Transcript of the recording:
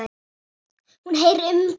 Hún heyrir umgang frammi.